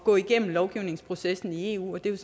gå igennem lovgivningsprocessen i eu det er